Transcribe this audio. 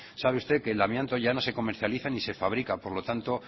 sabe usted que el amianto ya no se comercializa ni se fabrica por lo tanto